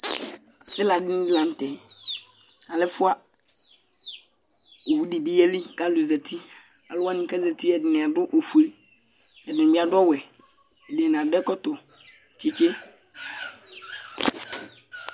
asila ni lantɛ alɛ ɛfua owu di bi yeli k'alo zati alo wani k'azati ɛdini adu ofue ɛdini bi adu ɔwɛ ɛdini adu ɛkɔtɔ tsitsi